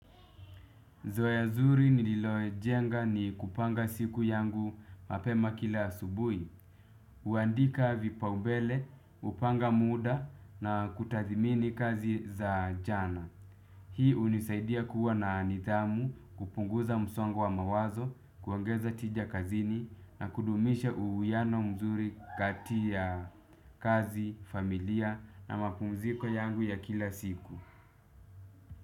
Zoea zuri nililojenga ni kupanga siku yangu mapema kila asubui. Uandika vipaubele, hupanga muda na kutathimini kazi za jana. Hii unisaidia kuwa na nidhamu, kupunguza msongo wa mawazo, kuongeza tija kazini na kudumisha uwiano mzuri kati ya kazi, familia na mapumziko yangu ya kila siku.